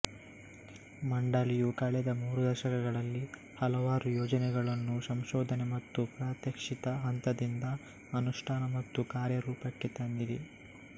ಮಂಡಳಿಯು ಕಳೆದ ಮೂರು ದಶಕಗಳಲ್ಲಿ ಹಲವಾರು ಯೋಜನೆಗಳನ್ನು ಸಂಶೋಧನೆ ಮತ್ತು ಪ್ರಾತ್ಯಕ್ಷಿಕತೆ ಹಂತದಿಂದ ಅನುಷ್ಠಾನ ಮತ್ತು ಕಾರ್ಯರೂಪಕ್ಕೆ ತಂದಿದೆ